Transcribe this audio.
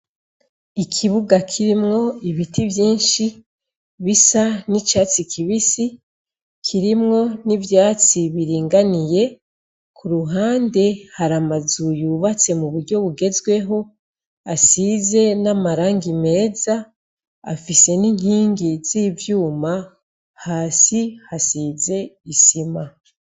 Ikibuga kirimwo ibiti vyinshi bisa n'icatsi kibisi kirimwo n'ivyatsi biringaniye ku ruhande hari amazu yubatse mu buryo bugezweho asize n'amarangi meza afise n'inkingi z'ivyuma hasi hasize isima.